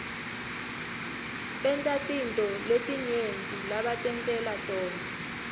bantatintfo letinyenti lebatentela tona